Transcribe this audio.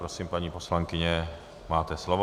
Prosím, paní poslankyně, máte slovo.